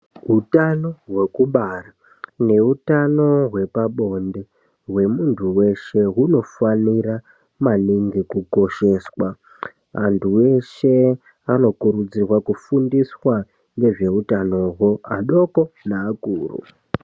Utano hwekubara nehutano hwepabonde hwemuntu weshe hunofanirwa maningi kukosheswa .Antu eshe anokurudzirwa kufundiswa nezvehutanoho ,adoko neakuru .